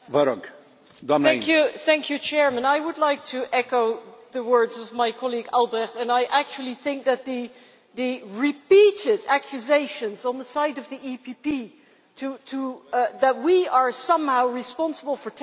I would like to echo the words of my colleague Mr Albrecht, and I actually think that the repeated accusations on the side of the PPE, to the effect that we are somehow responsible for terrorist attacks, are disgusting.